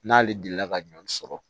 N'ale delila ka ɲɔ sɔrɔ